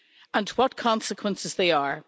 And what consequences they are.